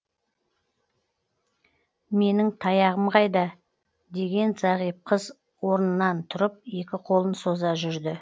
менің таяғым қайда деген зағип қыз орынан тұрып екі қолын соза жүрді